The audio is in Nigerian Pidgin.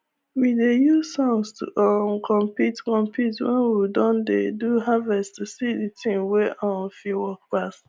we dey use song to um compete compete when we don dey do harvest to see the team wey um fit work pass